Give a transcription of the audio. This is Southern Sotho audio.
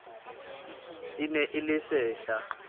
e ne e le sehla